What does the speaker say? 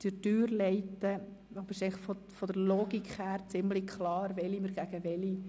Ich werde Sie durch diese hindurchführen, wobei es von der Logik her ziemlich klar ist, welche Anträge wir welchen